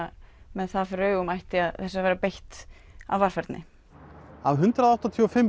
með það fyrir augum ætti þessu að vera beitt af varfærni af hundrað áttatíu og fimm